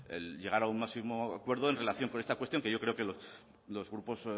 el llegar a un máximo acuerdo en relación con esta cuestión que yo creo que los grupos